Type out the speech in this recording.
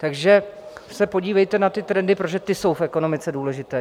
Takže se podívejte na ty trendy, protože ty jsou v ekonomice důležité.